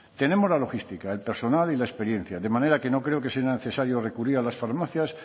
tenemos la logística el personal y la experiencia de manera que no creo que sea necesario recurrir a las farmacias